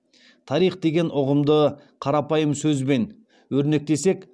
тарих деген ұғымды қарапайым сөзбен өрнектесек